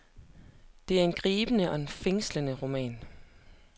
Det er en gribende og fængslende roman.